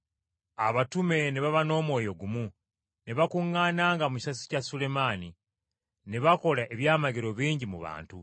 Abatume ne baba n’omwoyo gumu ne bakuŋŋaananga mu kisasi kya Sulemaani, ne bakola ebyamagero bingi mu bantu.